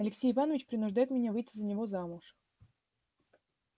алексей иванович принуждает меня выйти за него замуж